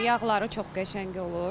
Yağları çox qəşəng olur.